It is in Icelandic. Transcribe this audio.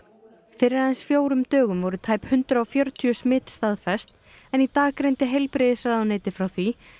fyrir aðeins fjórum dögum voru tæp hundrað og fjörutíu smit staðfest en í dag greindi heilbrigðisráðuneytið frá því